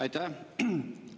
Aitäh!